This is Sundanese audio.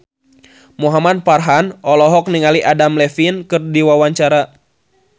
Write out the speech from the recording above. Muhamad Farhan olohok ningali Adam Levine keur diwawancara